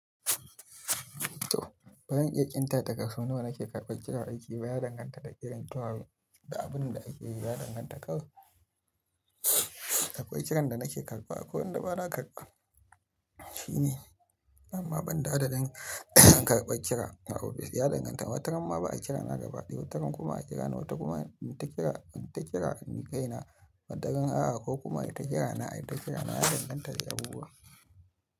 Bazan iya ƙinta daga so nawa nake karɓar kiran aiki baya danganta da kiran kowa da abin da ake yi baya danganta kawai da akwai kiran da nake karɓa akwai wanda ba na karɓa shine amma ban da adadin an karɓar kira a ofis baya danganta watan amma ba a kira na gabaɗiya watan kuma a kira na wata kuma in ta kira in ta kira ni kaina matakan A ko kuma ita kira na ai ta kira na baya danganta da abubuwa.